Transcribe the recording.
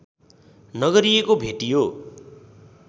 नगरिएको भेटियो